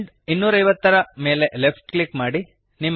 end 250 ಯ ಮೇಲೆ left click ಮಾಡಿರಿ